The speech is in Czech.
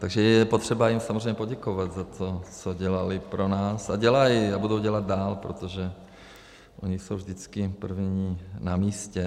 Takže je potřeba jim samozřejmě poděkovat za to, co dělali pro nás a dělají a budou dělat dál, protože oni jsou vždycky první na místě.